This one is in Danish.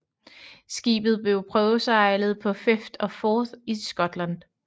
Skibet blev prøvesejlet på Firth of Forth i Skotland